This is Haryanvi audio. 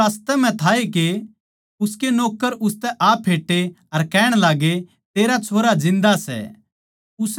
वो रास्तए म्ह था के उसके नौक्कर उसतै आ फेट्टे अर कहण लाग्गे तेरा छोरा जिन्दा सै